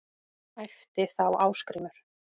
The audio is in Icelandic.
æpti þá Ásgrímur